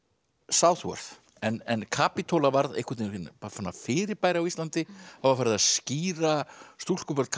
Southworth en Kapítóla varð fyrirbæri á Íslandi það var farið að skíra stúlkubörn